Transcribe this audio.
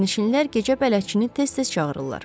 Sərnişinlər gecə bələdçini tez-tez çağırırlar.